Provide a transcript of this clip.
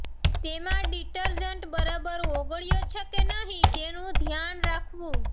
તેમાં ડિટરજન્ટ બરાબર ઓગળ્યો છે કે નહીં તેનું ધ્યાન રાખવું